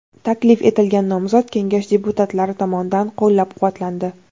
Taklif etilgan nomzod Kengash deputatlari tomonidan qo‘llab-quvvatlandi.